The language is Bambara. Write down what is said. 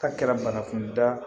K'a kɛra banakunda